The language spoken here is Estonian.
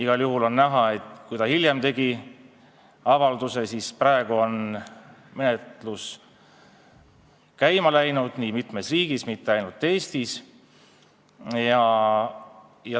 Igal juhul on näha, et kui ta hiljem tegi avalduse, siis läks menetlus käima mitmes riigis, mitte ainult Eestis.